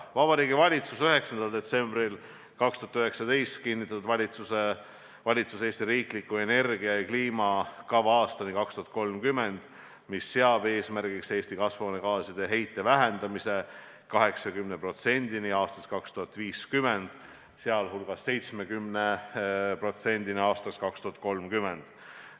Vabariigi Valitsus kinnitas 9. detsembril 2019 "Eesti riikliku energia- ja kliimakava aastani 2030", mis seab eesmärgiks vähendada Eesti kasvuhoonegaaside heidet 2050. aastaks 80%-ni, sh 2030. aastaks 70%-ni.